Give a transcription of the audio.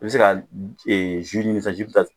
I bɛ se ka ɲini sisan min bɛ taa